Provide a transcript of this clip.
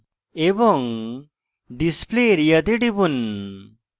এবং display area তে টিপুন